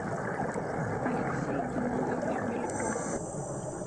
алексей геннадьевич бельков